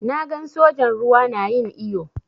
Na gan sojan ruwa na yin iyo.